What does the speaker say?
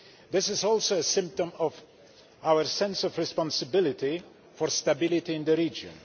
It is also a sign of our sense of responsibility for stability in the region.